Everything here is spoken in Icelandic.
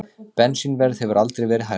Bensínverð hefur aldrei verið hærra